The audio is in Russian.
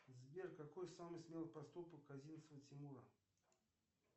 сбер какой самый смелый поступок козинцева тимура